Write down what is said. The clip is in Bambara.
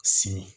Sini